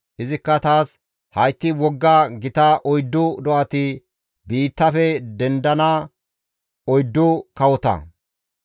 Izikka taas, ‹Hayti wogga gita oyddu do7ati biittafe dendana oyddu kawota.